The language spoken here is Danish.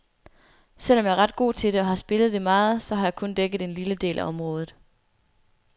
Selvom jeg er ret god til det og har spillet det meget, så har jeg kun dækket en lille del af området.